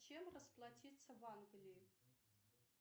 чем расплатиться в англии